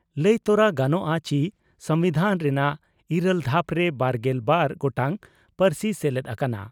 ᱞᱟᱹᱭ ᱛᱚᱨᱟ ᱜᱟᱱᱚᱜᱼᱟ ᱪᱤ ᱥᱚᱢᱵᱤᱫᱷᱟᱱ ᱨᱮᱱᱟᱜ ᱤᱨᱟᱹᱞ ᱫᱷᱟᱯ ᱨᱮ ᱵᱟᱨᱜᱮᱞ ᱵᱟᱨ ᱜᱚᱴᱟᱝ ᱯᱟᱹᱨᱥᱤ ᱥᱮᱞᱮᱫ ᱟᱠᱟᱱᱟ ᱾